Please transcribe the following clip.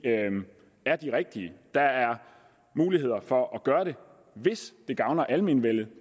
rigtige der er mulighed for at gøre det hvis det gavner almenvellet